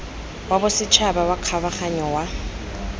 wa bosetšhaba wa kgabaganyo wa